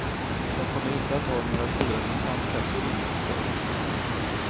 De kommer inte att ha några stora kontantkassor inne, säger han.